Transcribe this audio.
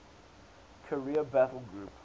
carrier battle group